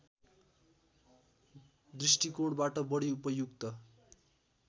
दृष्टिकोणबाट बढी उपयुक्त